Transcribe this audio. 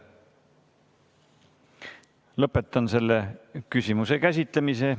Lõpetan selle küsimuse käsitlemise.